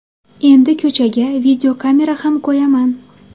Endi ko‘chaga videokamera ham qo‘yaman.